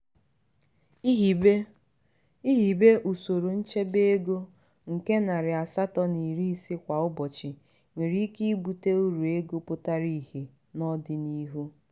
ihibe ihibe usoro nchebe ego nke narị asatọ na iri ise kwa ụbọchị nwere ike ibute uru ego pụtara ihe n'odinihu.